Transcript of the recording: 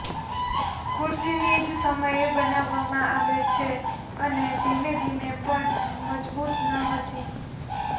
ખુરશીની જ સમયે બનાવવામાં આવે છે અને ધીમે ધીમે પણ મજબૂત ન હતી